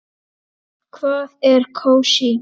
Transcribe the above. Hvað er kósí?